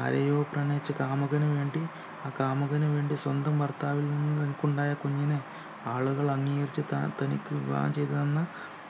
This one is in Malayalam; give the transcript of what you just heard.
ആരെയോ പ്രണയിച്ചു കാമുകന് വേണ്ടി ആ കാമുകന് വേണ്ടി സ്വന്തം ഭർത്താവിൽ നിന്നു തനിക്കുണ്ടായ കുഞ്ഞിനെ ആളുകൾ അംഗീകരിച്ചു ത തനിക്ക് വിവാഹം ചെയ്തു തന്ന